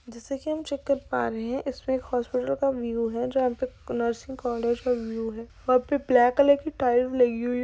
जैसा कि हम चेक कर पा रहे है इसमे एक हॉस्पिटल का व्यू है जहां पर नर्सिंग कॉलेज का व्यू है वहां पे ब्लैक कलर की टाइल लगी हुई है।